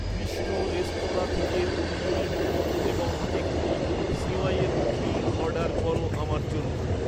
Krishna restaurant থেকে তন্দুরি মোমো এবং একটি সিমাইের ক্ষীর অর্ডার করো আমার জন্য